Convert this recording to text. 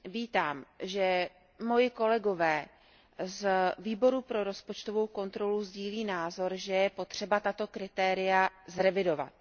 Vítám, že moji kolegové z Výboru pro rozpočtovou kontrolu sdílí názor, že je potřeba tato kritéria zrevidovat.